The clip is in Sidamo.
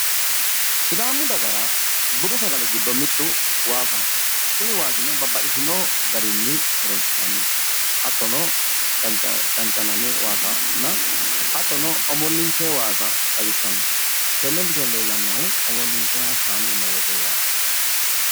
sidaamu dagara budu sagale giddo mittu waasaho kuni waasino omollinsoonniha leellishshanno.